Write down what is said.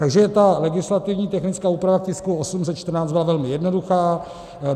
Takže ta legislativně technická úprava k tisku 814 byla velmi jednoduchá.